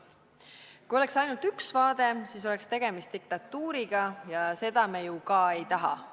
Kui oleks ainult üks vaade, siis oleks tegemist diktatuuriga, ja seda me ju ka ei taha.